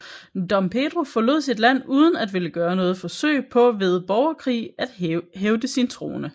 Dom Pedro forlod sit land uden at ville gøre noget forsøg på ved borgerkrig at hævde sin trone